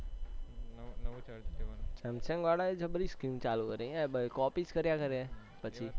samsung વાળા એ જબરી scheme ચાલુ કરી હૈ ભાઈ copy જ કરયા છે ને પછી